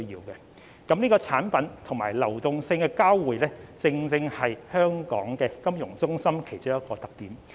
上述所說的產品及流動性的交匯，正正是香港金融中心其中一個特點。